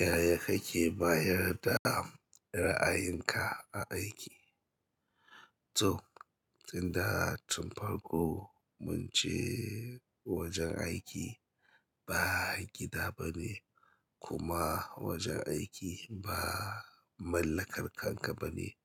Yaya kake bayar da ra'ayinka a aiki? To, tunda tun farko mun ce wajen aiki ba gida bane kuma wajen aiki ba mallakarkanka bane,